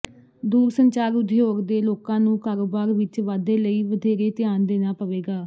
ਦੂਰ ਸੰਚਾਰ ਉਦਯੋਗ ਦੇ ਲੋਕਾਂ ਨੂੰ ਕਾਰੋਬਾਰ ਵਿਚ ਵਾਧੇ ਲਈ ਵਧੇਰੇ ਧਿਆਨ ਦੇਣਾ ਪਵੇਗਾ